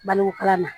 Balokala ma